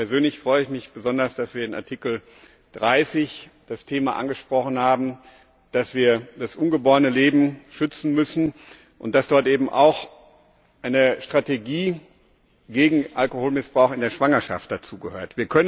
Persönlich freue ich mich besonders, dass wir unter Ziffer 30 das Thema angesprochen haben, dass wir das ungeborene Leben schützen müssen und dass dazu eben auch eine Strategie gegen Alkoholmissbrauch in der Schwangerschaft gehört.